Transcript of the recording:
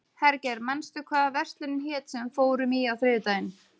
Hergeir, manstu hvað verslunin hét sem við fórum í á þriðjudaginn?